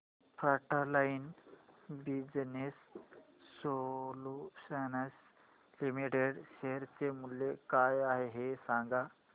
frontline business solutions limited share चे मूल्य काय आहे हे सांगा